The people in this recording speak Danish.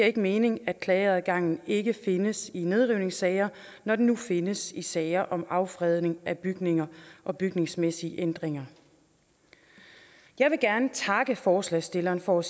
ikke mening at klageadgangen ikke findes i nedrivningssager når den nu findes i sager om affredning af bygninger og bygningsmæssige ændringer jeg vil gerne takke forslagsstillerne for at